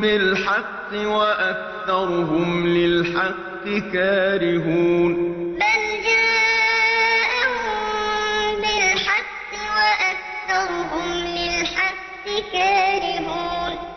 بِالْحَقِّ وَأَكْثَرُهُمْ لِلْحَقِّ كَارِهُونَ أَمْ يَقُولُونَ بِهِ جِنَّةٌ ۚ بَلْ جَاءَهُم بِالْحَقِّ وَأَكْثَرُهُمْ لِلْحَقِّ كَارِهُونَ